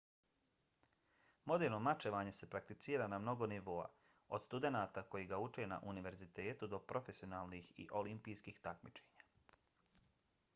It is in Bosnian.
moderno mačevanje se prakticira na mnogo nivoa od studenata koji ga uče na univerzitetu do profesionalnih i olimpijskih takmičenja